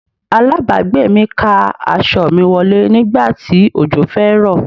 Aláàbágbé mi ká aṣọ mi wọlé nígbà tí òjò fẹ́ rọ̀.